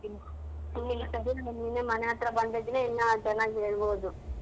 ನೀನೆ ಮನೆ ಹತ್ರ ಬಂದಿದ್ರೆ ಇನ್ನ ಚೆನ್ನಾಗ್ ಹೇಳ್ಬೋದು.